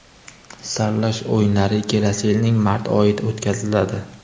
Saralash o‘yinlari kelasi yilning mart oyida o‘tkaziladi.